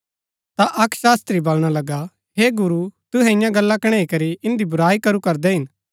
ता अक्क शास्त्री बलणा लगा हे गुरू तूहै ईयां गल्ला कणैई करी इन्दी बुराई करू करदै हिन